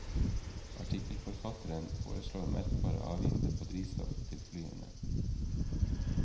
Artikkelforfatteren foreslår merkbare avgifter på drivstoff til flyene.